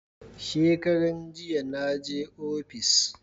Shekaran jiya na je ofis